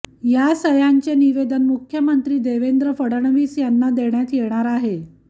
या सह्यांचे निवेदन मुख्यमंत्री देवेंद्र फडणवीस यांना देण्यात येणार आहे